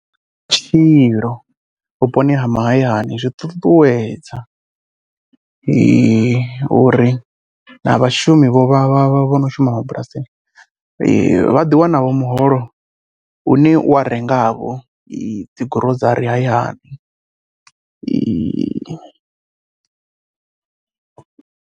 Vhutshilo vhuponi ha mahayani zwiṱuṱuwedza uri na vhashumi vho vha vha vha vho no shuma bulasini vha ḓiwanavho muholo une wa rengavho dzi gurozari hayani.